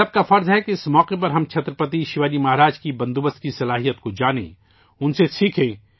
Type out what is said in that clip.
ہم سب کا فرض ہے کہ اس موقع پر ہم چھترپتی شیواجی مہاراج کی انتظامی صلاحیتوں کو جانیں اور ان سے سیکھیں